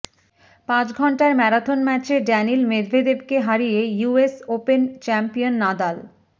পাঁচ ঘণ্টার ম্যারাথন ম্যাচে ড্যানিল মেদভেদেভকে হারিয়ে ইউএস ওপেন চ্যাম্পিয়ন নাদাল